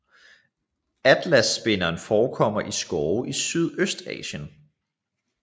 Atlasspinderen forekommer i skove i Sydøstasien